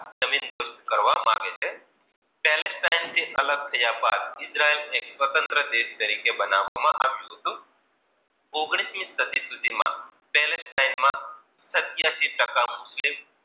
જમીન દોસ્ત કરવા માગે છે. સેલેશ થી અલગ થયા બાદ ઈદ્ર્યેલ એક સ્વત્રંત તરીકે બનવા માં આવ્યું હતું ઓગણીસ મી સદી સુધી માં સેલે ટીમે માં સત્યાસી ટકા મુસ્લિમ